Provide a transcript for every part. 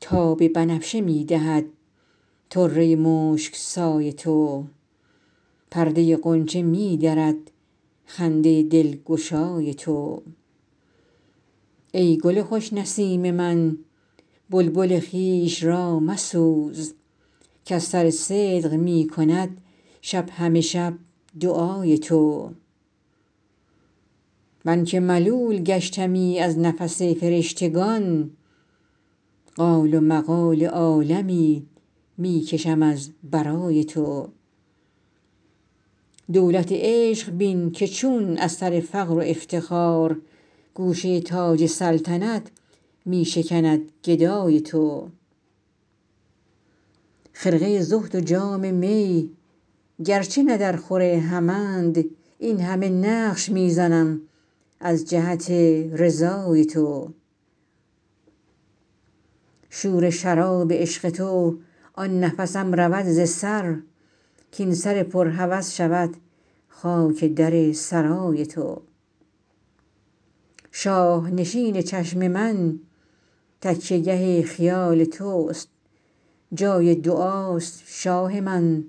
تاب بنفشه می دهد طره مشک سای تو پرده غنچه می درد خنده دلگشای تو ای گل خوش نسیم من بلبل خویش را مسوز کز سر صدق می کند شب همه شب دعای تو من که ملول گشتمی از نفس فرشتگان قال و مقال عالمی می کشم از برای تو دولت عشق بین که چون از سر فقر و افتخار گوشه تاج سلطنت می شکند گدای تو خرقه زهد و جام می گرچه نه درخور همند این همه نقش می زنم از جهت رضای تو شور شراب عشق تو آن نفسم رود ز سر کاین سر پر هوس شود خاک در سرای تو شاه نشین چشم من تکیه گه خیال توست جای دعاست شاه من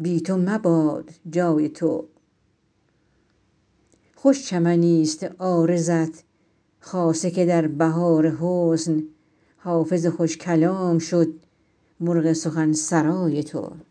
بی تو مباد جای تو خوش چمنیست عارضت خاصه که در بهار حسن حافظ خوش کلام شد مرغ سخن سرای تو